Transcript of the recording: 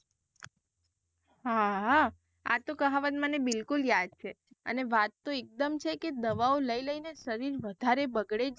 હા. આતો કહાવત મને બિલકુલ યાદ છે, અને વાત તો એક દમ છેકે દવાઓ લઇ લઇ ને શરીર વધારે બગડે.